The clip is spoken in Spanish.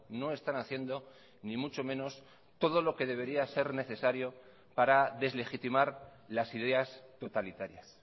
no están haciendo ni mucho menos todo lo que debería ser necesario para deslegitimar las ideas totalitarias